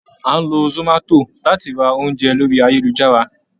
À n lọ zomato latí rá oúnjẹ lori ayélujará.